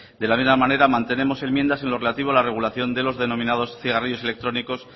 de la misma manera mantenemos enmiendas en lo relativo a la regulación de los denominados cigarrillos electrónicos